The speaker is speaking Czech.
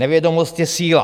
Nevědomost je síla...